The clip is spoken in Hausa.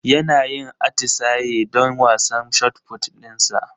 Yana yin atisaye don wasan shotput dinsa